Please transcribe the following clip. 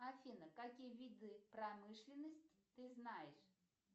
афина какие виды промышленности ты знаешь